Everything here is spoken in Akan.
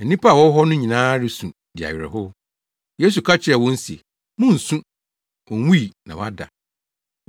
Na nnipa a wɔwɔ hɔ no nyinaa resu di awerɛhow. Yesu ka kyerɛɛ wɔn se, “Munnsu, onwui na wada.”